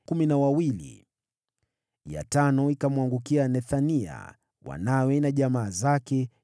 ya tano ikamwangukia Nethania, wanawe na jamaa zake, 12